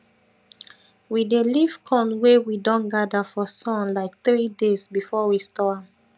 we dey leave corn wey we don gather for sun like three days before we store am